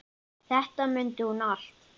Þetta mundi hún allt.